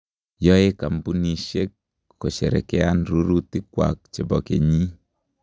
Yoe kampuishe kosherekean rurutik kwak che bo kenyii.